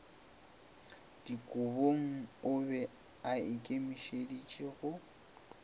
dikobong o be aikemišeditše go